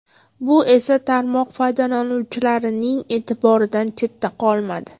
Bu esa tarmoq foydalanuvchilarining e’tiboridan chetda qolmadi.